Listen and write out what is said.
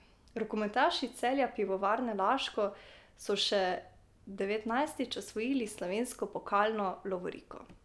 Rokometaši Celja Pivovarne Laško so še devetnajstič osvojili slovensko pokalno lovoriko.